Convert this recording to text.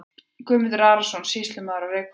Guðmundur Arason, sýslumaður á Reykhólum.